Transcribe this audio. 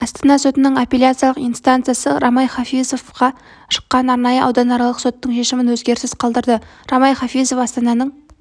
астана сотының апелляциялық инстанциясы рамай хафизовқа шыққан арнайы ауданаралық соттың шешімін өзгеріссіз қалдырды рамай хафизов астананың